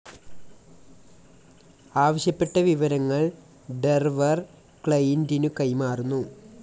ആവശ്യപ്പെട്ട വിവരങ്ങൾ സെർവർ, ക്ലയിൻ്റിനു കൈമാറുന്നു.